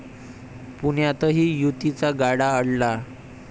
पुण्यातही युतीचा गाडा अडला